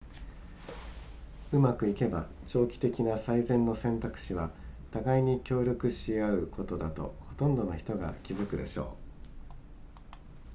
うまくいけば長期的な最善の選択肢は互いに協力し合うことだとほとんどの人が気づくでしょう